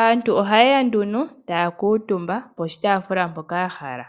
Aantu oha ye ya taakutumba poshitafula mpoka ya hala.